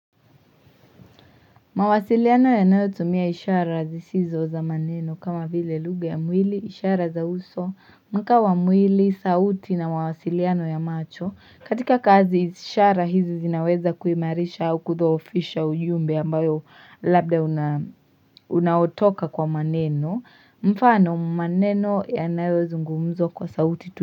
Mawasiliano yanayotumia ishara zisizo za maneno kama vile lugha ya mwili, ishara za uso, mkaa wa mwili, sauti na mawasiliano ya macho katika kazi ishara hizi zinaweza kuimarisha au kudhoofisha ujumbe ambayo labda unaotoka kwa maneno mfano maneno yanayozungumzwa kwa sauti.